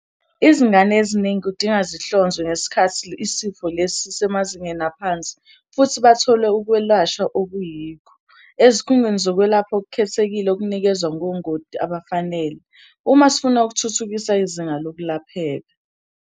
Izingane eziningi kudinga zihlonzwe ngesikhathi isifo lesi sisesemazingeni aphansi futhi bathole ukwelashwa okuyikho - ezikhungweni zokwelapha okukhethekile okunikezwa ngongoti abafanele - uma sifuna ukuthuthukisa izinga lokulapheka.